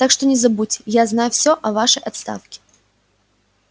так что не забудьте я знаю всё о вашей отставке